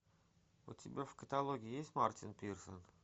у тебя в каталоге есть мартин пирсен